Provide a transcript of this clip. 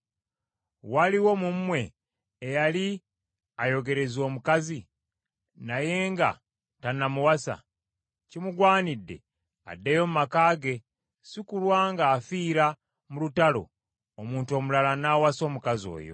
Waliwo mu mmwe eyali ayogereza omukazi, naye nga tannamuwasa? Kimugwanidde addeyo mu maka ge, si kulwa ng’afiira mu lutalo, omuntu omulala n’awasa omukazi oyo.”